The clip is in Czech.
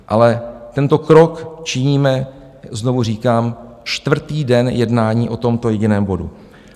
Ale tento krok činíme, znovu říkám, čtvrtý den jednání o tomto jediném bodu.